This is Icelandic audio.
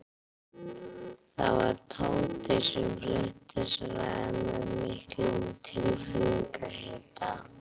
Það var Tóti sem flutti þessa ræðu með miklum tilfinningahita.